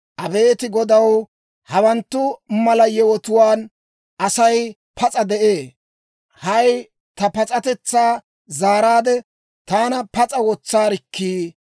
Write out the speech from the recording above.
Abeet Godaw, hawanttu mala yewotuwaan Asay pas'a de'ee. Hay ta pas'atetsaa zaaraade, taana pas'a wotsaarikkii!